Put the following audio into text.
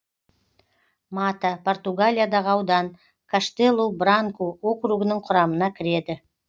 мата португалиядағы аудан каштелу бранку округінің құрамына кіреді